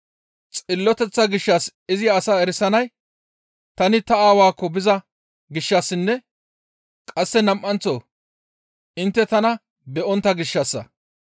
Xilloteththa gishshas izi asaa erisanay tani ta Aawaakko biza gishshassinne qasse nam7anththo intte tana be7ontta gishshassa.